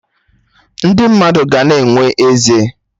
Ndị mmadụ ga na-enwe eze